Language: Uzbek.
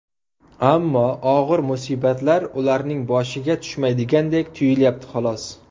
Ammo og‘ir musibatlar ularning boshiga tushmaydigandek tuyulyapti, xolos.